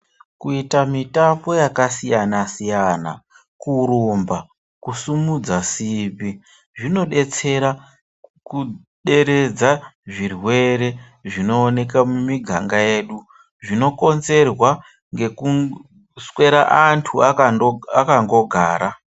Kuita mitambo yakasiyana-siyana, kurumba, kusumudza simbi, zvinodetsera kuderedza zvirwere zvinooneka mumiganga yedu, zvinokonzerwa ngekuswera antu akangogara.